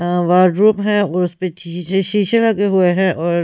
अ wardrobe है और उस पे शी शीशे लगे हुए हैं और--